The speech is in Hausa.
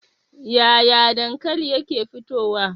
Yaya dankali yake fitowa?